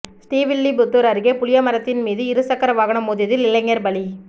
ஸ்ரீவில்லிபுத்தூர் அருகே புளிய மரத்தின் மீது இருசக்கர வாகனம் மோதியதில் இளைஞர் பலி